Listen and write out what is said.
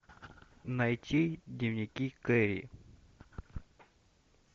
найти дневники кэрри